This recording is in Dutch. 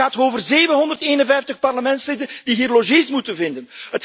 Het gaat over 751 parlementsleden die hier logies moeten vinden.